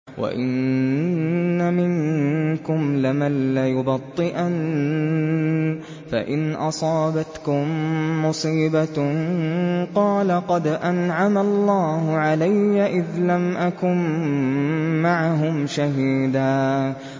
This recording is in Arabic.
وَإِنَّ مِنكُمْ لَمَن لَّيُبَطِّئَنَّ فَإِنْ أَصَابَتْكُم مُّصِيبَةٌ قَالَ قَدْ أَنْعَمَ اللَّهُ عَلَيَّ إِذْ لَمْ أَكُن مَّعَهُمْ شَهِيدًا